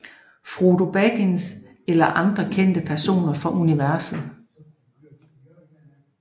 Frodo Baggins eller andre kendte personer fra universet